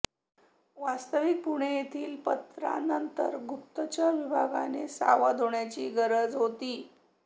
वास्तविक पुणे येथील पत्रानंतर गुप्तचर विभागाने सावध होण्याची गरज होती